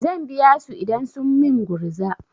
Zan biya su idan sun min gurza.